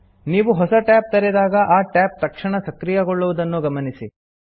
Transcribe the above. ನೀವು ಹೊಸ ಟ್ಯಾಬ್ ತೆರೆದಾಗ ಆ ಟ್ಯಾಬ್ ತಕ್ಷಣ ಸಕ್ರಿಯಗೊಳ್ಳುವುದನ್ನು ಗಮನಿಸಿ